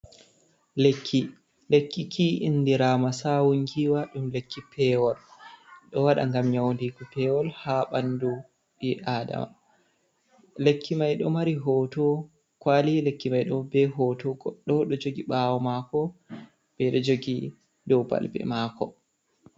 Lekki, lekkiki indirama sawun giwa, lekki pewol ɗo waɗa ngam nyaudigo pewol ha ɓandu ɓi adama, lekki mai ɗo mari hoto kwali lekki mai ɗo be hoto goɗɗo ɗo jogi ɓawo mako, ɓeɗo jogi ɗo balbe mako.